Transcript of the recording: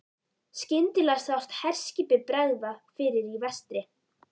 Skyndilega sást herskipi bregða fyrir í vestri.